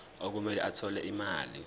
okumele athole imali